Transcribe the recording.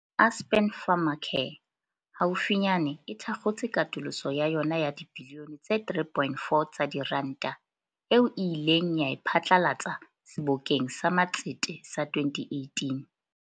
Aspen Pharmacare haufi nyane e thakgotse katoloso ya yona ya dibilione tse 3.4 tsa diranta, eo e ileng ya e pha tlalatsa Sebokeng sa Matsete sa 2018.